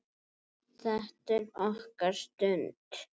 Þetta er okkar stund.